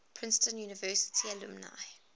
princeton university alumni